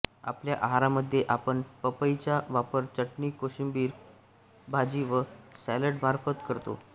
आपल्या आहारामध्ये आपण पपईचा वापर चटणी कोशिंबीर भाजी व सॅलडमार्फत करतो